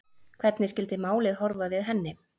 Hvernig skyldið málið horfa við henni?